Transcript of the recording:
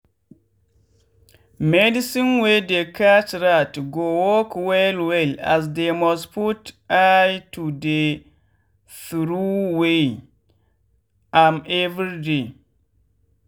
medicine wey dey catch rat go work well well as dey must put eye to dey throway am everyday.